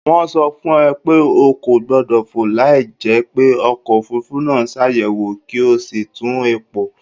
Wọ́n sọ fún ọ pé o kò gbọ́dọ̀ fò láìjẹ́ pé ọkọ̀ òfuurufú náà ṣàyẹ̀wò kí o sì tún epo